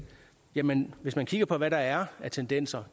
jamen hvis man kigger på hvad der er af tendenser